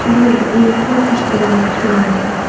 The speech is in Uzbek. Bu borada u yaqqol peshqadam hisoblanadi.